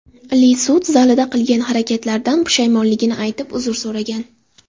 Li sud zalida qilgan harakatlaridan pushaymonligini aytib, uzr so‘ragan.